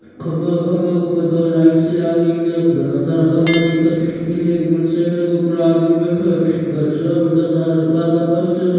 खम्भों है खम्भा के उपर दो लाइट सी लागरी इन घना सारा खम्भा दिखे इने एक मोटरसाइकल के ऊपरे आदमी बैठो है घर सो है बढ़ो सारो आगे पोस्टर सो --